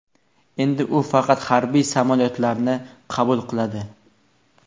Endi u faqat harbiy samolyotlarni qabul qiladi.